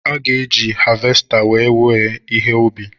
A ga-eji havesta wèè wéé ihe ubi.